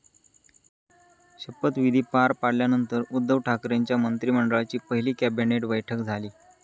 शपविधी पार पडल्यानंतर उद्धव ठाकरेंच्या मंत्रिमंडळाची पहिली कॅबिनेट बैठक झाली.